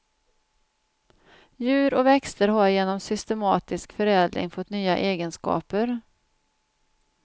Djur och växter har genom systematisk förädling fått nya egenskaper.